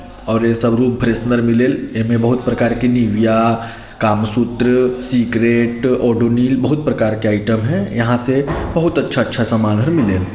और ए सब रूम फ्रेशनर मिलेल एमे बहुत प्रकार की निविया कामा सूत्र सीक्रेट और डोनिल बहुत प्रकार के आइटम है यहा से बहुत अच्छा-अच्छा सामान हे मिलेल।